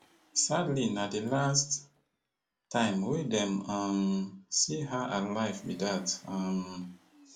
sadly na di last time wey dem um see her alive be dat um